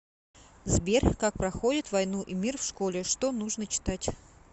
сбер как проходят войну и мир в школе что нужно читать